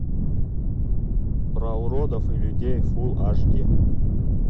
про уродов и людей фулл аш ди